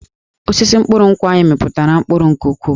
Osisi mkpụrụ nkwụ anyị mịpụtara mkpụrụ nke ukwuu